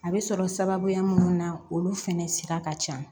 A bɛ sɔrɔ sababuya minnu na olu fɛnɛ sira ka ca